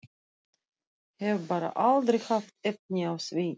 Hef bara aldrei haft efni á því.